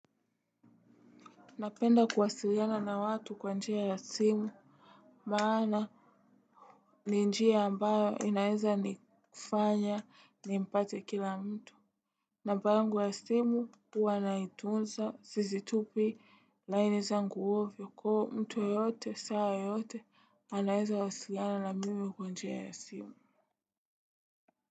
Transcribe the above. Napenda kuwasiliana na watu kwa njia ya simu. Maana ni njia ambayo inaeza nifanya nimpate kila mtu. Namba yangu ya simu huwa naitunza sisitupi laini zangu ovyo kwa hivo mtu yeyote saa yoyote anaweza wasiliana na mimi kwa njia ya simu.